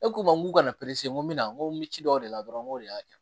E k'u ma k'u ka na n ko mina ko mi ci dɔw de la dɔrɔn n ko de y'a kɛ